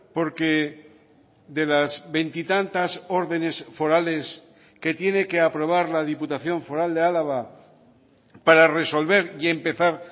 porque de las veintitantas órdenes forales que tiene que aprobar la diputación foral de álava para resolver y empezar